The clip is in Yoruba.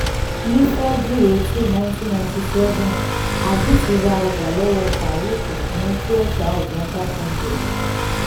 ní february eighteen nineteen ninety seven ajit ra ọjà lọ́wọ́ farook fún twen thousand five hundred.